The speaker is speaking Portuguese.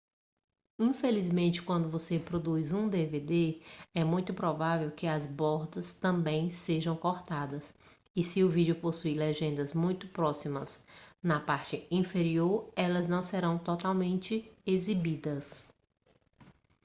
infelizmente quando você produz um dvd é muito provável que as bordas também sejam cortadas e se o vídeo possuir legendas muito próximas da parte inferior elas não serão totalmente exibidas